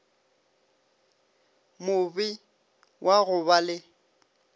mobe wa go ba le